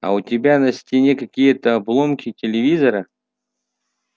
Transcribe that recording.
а у тебя на стене какие-то обломки телевизора